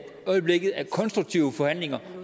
øjeblikket er konstruktive forhandlinger